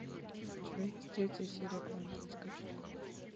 у тебя есть третья серия квантовый скачок